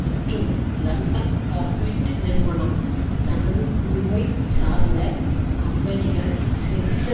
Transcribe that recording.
மற்றும் லண்டன் காப்பீட்டு நிறுவனம் தனது குழுவை சார்ந்த கம்பெனிகள் செலுத்த